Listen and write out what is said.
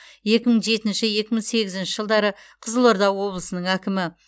екі мың жетінші екі мың сегізінші жылдары қызылорда облысының әкімі